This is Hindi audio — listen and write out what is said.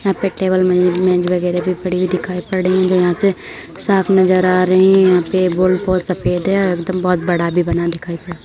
यहाँ पर टेबल मेज़ मेज़ वैगरह भी दिखाई पड़ रही है यहाँ से साफ नजर आ रही है यहाँ पे बहुत सफ़ेद है एकदम बहुत बड़ा भी बना दिखाई पड़ --